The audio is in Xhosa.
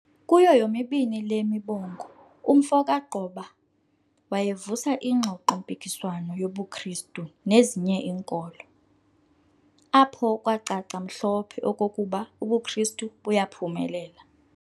Kuyo yomibni le mibongo, umfo kaGqoba wayevusa ingxoxo-mpikiswano ngobuKristu nezinye inkolo, apho kwacaca mhlophe okokuba ubuKristu buyaphumelela.